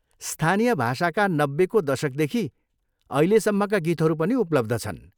स्थानीय भाषाका नब्बेको दशकदेखि अहिलेसम्मका गीतहरू पनि उपलब्ध छन्।